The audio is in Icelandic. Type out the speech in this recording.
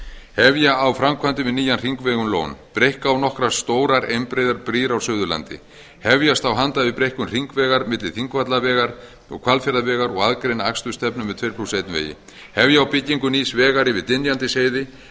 hefja á framkvæmdir við nýjan hringveg um lón breikka á nokkrar stórar einbreiðar brýr á suðurlandi hefjast á handa við breikkun hringvegar milli þingvallavegar og hvalfjarðarvegar og aðgreina akstursstefnu með tuttugu og eitt vegi hefja á byggingu nýs vegar yfir dynjandisheiði